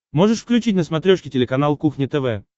можешь включить на смотрешке телеканал кухня тв